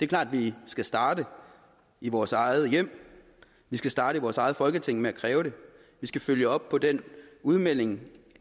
klart at vi skal starte i vores eget hjem vi skal starte i vores eget folketing med at kræve det vi skal følge op på den udmelding